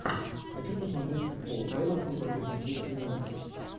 хочу посмотреть футбол эвертон против манчестер юнайтед